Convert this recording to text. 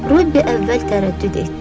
Robbi əvvəl tərəddüd etdi.